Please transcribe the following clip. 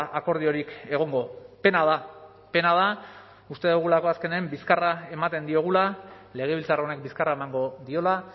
akordiorik egongo pena da pena da uste dugulako azkenean bizkarra ematen diogula legebiltzar honek bizkarra emango diola